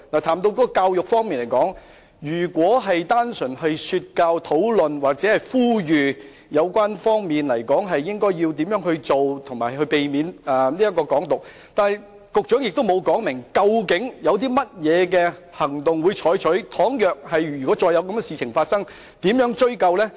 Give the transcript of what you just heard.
談到教育，政府只單純說教，表示會討論或呼籲有關方面應如何處理，避免"港獨"，局長卻沒有說明，當再次發生類似事情，會採取甚麼行動，該如何追究。